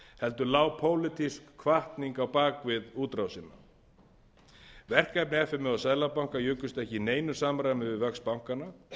heldur lá pólitísk hvatning á bak við útrásina verkefni seðlabanka jukust ekki í neinu samræmi við vöxt bankanna